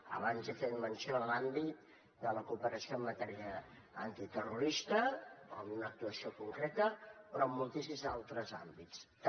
abans he fet menció en l’àmbit de la cooperació en matèria antiterrorista d’una actuació concreta però en moltíssims altres àmbits també